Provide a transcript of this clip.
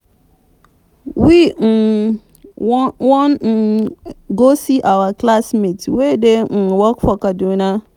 we um wan um go see see our classmate wey dey um work for kaduna